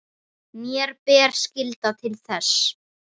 Mér ber skylda til þess.